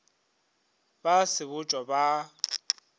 ba a sebotšwa ba a